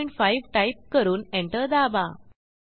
15 type करून enter दाबा